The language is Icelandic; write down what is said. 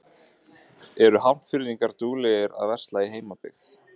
Eru Hafnfirðingar duglegir að versla í heimabyggð?